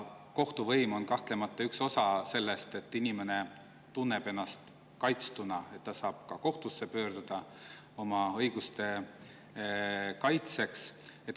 Kohtuvõim on kahtlemata üks osa sellest, et inimene tunneks ennast kaitstuna ja et ta saaks ka oma õigusi kaitsta.